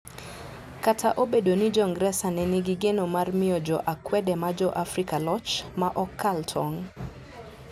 Kata obedo ni Jo-ngresa ne nigi geno mar miyo jo akwede ma Jo-Afrika loch "ma ok kal tong',